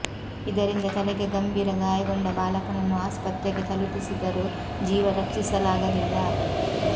ಇದರಿಂದ ತಲೆಗೆ ಗಂಭೀರ ಗಾಯಗೊಂಡ ಬಾಲಕನನ್ನು ಆಸ್ಪತ್ರೆಗೆ ತಲುಪಿಸಿದರೂ ಜೀವ ರಕ್ಷಿಸಲಾಗಲಿಲ್ಲ